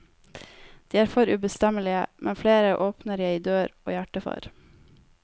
De er for ubestemmelige, men flere åpner jeg dør og hjerte for.